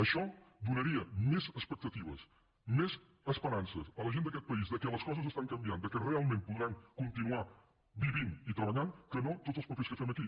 això donaria més expectatives més esperances a la gent d’aquest país que les coses estan canviant que realment podran continuar vivint i treballant que no tots els papers que fem aquí